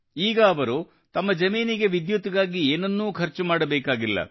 ಈಗ ಅವರು ತಮ್ಮ ಜಮೀನಿಗೆ ವಿದ್ಯುತ್ತಿಗಾಗಿ ಏನನ್ನೂ ಖರ್ಚು ಮಾಡಬೇಕಾಗಿಲ್ಲ